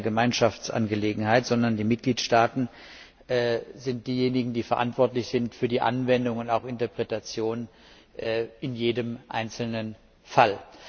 Das ist keine Gemeinschaftsangelegenheit, sondern die Mitgliedstaaten sind diejenigen, die verantwortlich sind für die Anwendung und auch Interpretation in jedem einzelnen Fall.